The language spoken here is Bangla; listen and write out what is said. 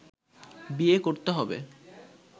বিয়ে করতে হবে